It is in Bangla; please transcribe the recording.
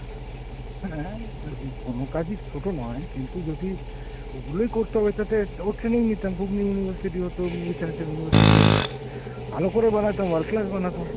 হ্যাঁ, দেখো কোনো কাজই ছোট নয় কিন্তু যদি ওগুলোই করতে হবে তাতে ওর training নিতাম ঘুগনি মুড়ি university হতো, মুড়ি চানাচুর university হত, ভালো করে বানাতাম world class বানাতাম।